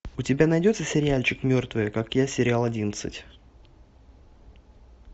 у тебя найдется сериальчик мертвые как я сериал одиннадцать